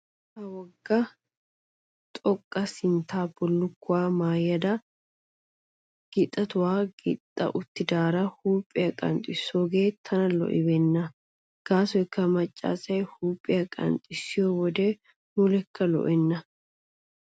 Ha wogga xuggaa sinttan bullukkuwa maayada gixetuwa gixxa uttidaara huuphphiya qanxxissoogee tana lo"ibeenna. Gaasoykka macca asi huuphphiya qanxxissiyo wode mulekka lo"enna.